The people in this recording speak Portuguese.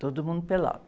Todo mundo pelado.